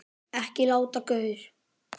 Ekki latur gaur!